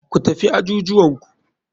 Ku tafi ajujuwanku.